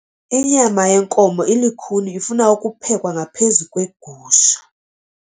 Inyama yenkomo ilukhuni ifuna ukuphekwa ngaphezu kwegusha.